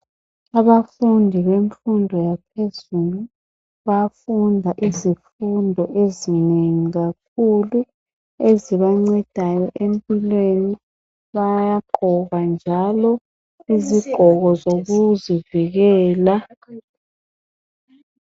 Abafundi bemfundo yaphezulu bayafunda izifundo ezinengi kakhulu ezibancedayo empilweni. Bayagqoka njalo izigqoko zokuzivikela.